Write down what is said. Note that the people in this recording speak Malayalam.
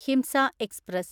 ഹിംസ എക്സ്പ്രസ്